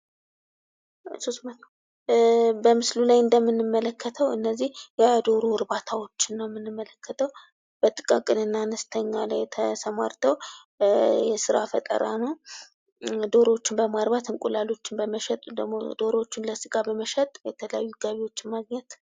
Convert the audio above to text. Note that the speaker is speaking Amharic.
በምስሉ ላይ እንደምንመለከተው የዶሮ እርባታዎችን ነው የምንመለከተው። በጥቃቅንና አነስተኛ ላይ ተሰማርተው የስራ ፈጠራ ነው። ዶሮዎችን በማርባት፣ እንቁላሎችን በመሸጥ ደግሞም ዶሮዎችን ለስጋ በመሸጥ የተለያዩ ገቢዎችን ማግኘት።